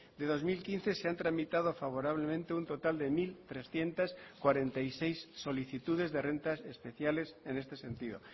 de dos mil quince se han tramitado favorablemente un total de mil trescientos cuarenta y seis solicitudes de rentas especiales en este sentido